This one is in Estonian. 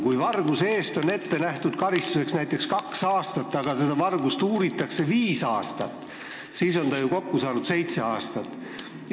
Kui näiteks varguse eest on karistuseks ette nähtud kaks aastat vanglat, aga seda vargust uuritakse viis aastat, siis on ta ju kokku saanud seitse aastat.